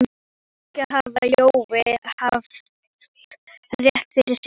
Kannski hafði Jói haft rétt fyrir sér.